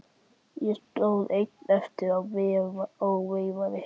Ég stóð einn eftir og veifaði.